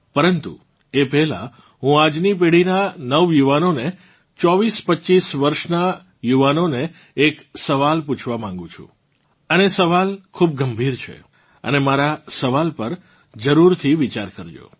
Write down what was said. પરંતુ એ પહેલાં હું આજની પેઢીનાં નવયુવાનોને 2425 વર્ષનાં યુવાનોને એક સવાલ પૂછવા માંગુ છું અને સવાલ ખૂબ ગંભીર છે અને મારાં સવાલ પર જરૂરથી વિચાર કરજો